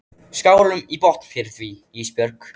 Skálum í botn fyrir því Ísbjörg.